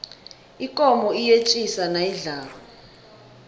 ikomo iyetjisa nayidlako